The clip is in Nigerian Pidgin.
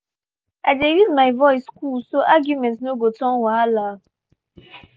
i dey use my voice cool so argument no go turn wahala.